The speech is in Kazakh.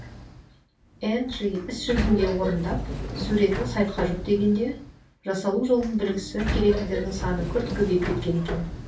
энджи іс жүзінде орындап суретін сайтқа жүктегенде жасалу жолын білгісі келетіндердің саны күрт көбейіп кеткен екен